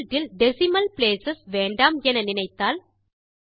result இல் decimal place வேண்டாம் என நினைத்தால்